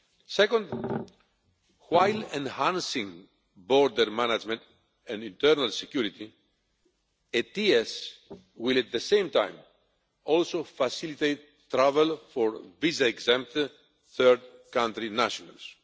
Second, while enhancing border management and internal security, ETIAS will at the same time also facilitate travel for visa exempt third country nationals.